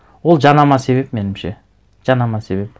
ол жанама себеп меніңше жанама себеп